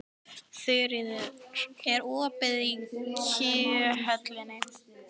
Þuríður, er opið í Kjöthöllinni?